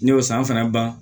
Ne y'o san fana ban